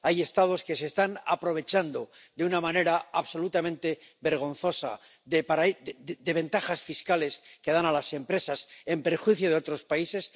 Hay Estados que se están aprovechando de una manera absolutamente vergonzosa de ventajas fiscales que dan a las empresas, en perjuicio de otros países.